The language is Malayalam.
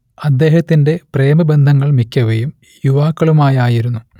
അദ്ദേഹത്തിന്റെ പ്രേമബന്ധങ്ങൾ മിക്കവയും യുവാക്കളുമായായിരുന്നു